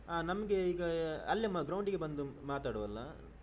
ಅ ನಮ್ಗೆ ಈಗ ಅಲ್ಲೆ ground ಡಿಗೆ ಬಂದು ಮಾತನಾಡುವಲ್ಲಾ.